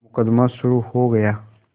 मुकदमा शुरु हो गया